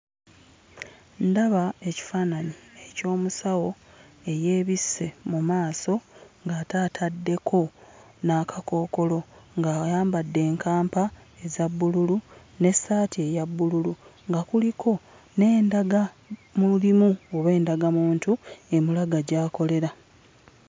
Ndaba ekifaananyi eky'omusawo eyeebisse mu maaso nga ate atadekko n'akakookolo ng'ayambadde enkampa eza bbululu n'essaati eya bbululu nga kuliko n'endaga mulimu oba endagamuntu emulaga gy'akolera.